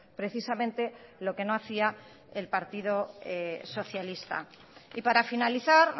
precisamente lo que no hacía el partido socialista y para finalizar